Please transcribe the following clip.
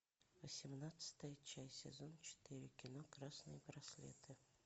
восемнадцатая часть сезон четыре кино красные браслеты